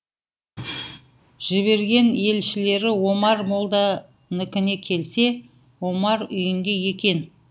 жіберген елшілері омар молданікіне келсе омар үйінде екен